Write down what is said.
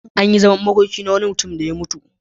An yi zaman makoki na wani mutum da ya mutu.